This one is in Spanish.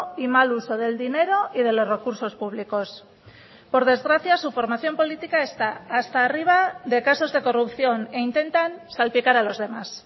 y mal uso del dinero y de los recursos públicos por desgracia su formación política está hasta arriba de casos de corrupción e intentan salpicar a los demás